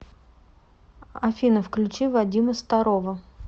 афина включи вадима старова